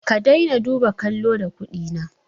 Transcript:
Ka dai na duba kallo da kuɗi na